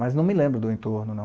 Mas não me lembro do entorno, não.